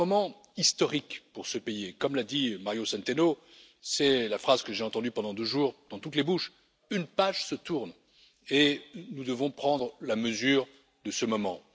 C'est un moment historique pour ce pays et, comme l'a dit Mario Centeno c'est la phrase que j'ai entendue pendant deux jours dans toutes les bouches une page se tourne et nous devons prendre la mesure de ce moment.